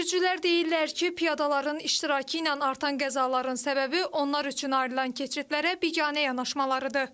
Sürücülər deyirlər ki, piyadaların iştirakı ilə artan qəzaların səbəbi onlar üçün ayrılan keçidlərə biganə yanaşmalarıdır.